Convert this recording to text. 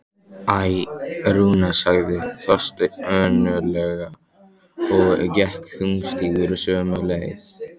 Æ, Rúna sagði Þorsteinn önuglega og gekk þungstígur sömu leið.